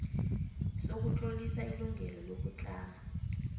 sokutlolisa ilungelo lokutlama